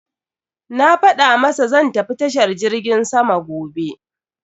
Na faɗa masa zan tafi tashar jirgin sama gobe.